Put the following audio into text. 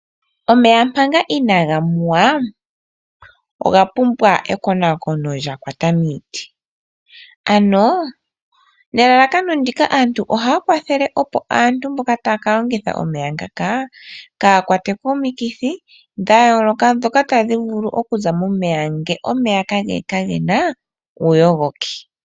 Omeya manga inaga nuwa oga pumbwa ekonaakono lya kwata miiti, ano nelalakano ndika aantu ohaya kwathele opo aantu mboka tayaka longitha omeya ngaka kaya kwatwe komikithi dha yooloka dhoka tadhi vulu okuza momeya nge omeya kagena uuyogoki.